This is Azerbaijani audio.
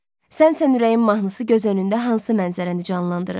Sənsən ürəyim mahnısı göz önündə hansı mənzərəni canlandırır?